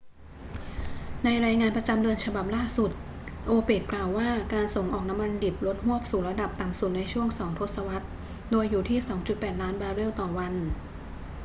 ในรายงานประจำเดือนฉบับล่าสุด โอเปกกล่าวว่าการส่งออกน้ำมันดิบลดฮวบสู่ระดับต่ำสุดในช่วงสองทศวรรษ โดยอยู่ที่ 2.8 ล้านบาร์เรลต่อวัน